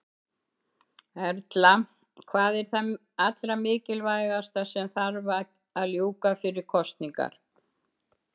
Erla: Hvað er það allra mikilvægasta sem að þarf að ljúka fyrir kosningar?